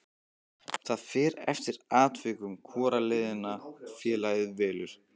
Það fer eftir atvikum hvora leiðina félagið velur.